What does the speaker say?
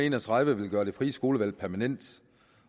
en og tredive vil gøre det frie skolevalg permanent